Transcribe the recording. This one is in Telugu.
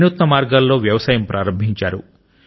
వినూత్న మార్గాల్లో వ్యవసాయం ప్రారంభించారు